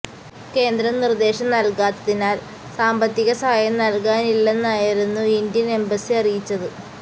കേന്ദ്രം നിർദേശം നൽകാത്തതിനാൽ സാമ്പത്തിക സഹായം നൽകാനാകില്ലെന്നായിരുന്നു ഇന്ത്യൻ എംബസി അറിയിച്ചത്